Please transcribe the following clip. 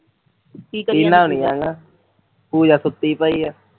ਕੀ ਕਰੀ ਜਾਂਦੀ ਪੂਜਾ ਇਹਨਾਂ ਨੀ ਆਣਾ ਪੂਜਾ ਸੁੱਤੀ ਪਈ ਐ